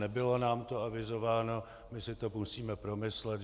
Nebylo nám to avizováno, my si to musíme promyslet.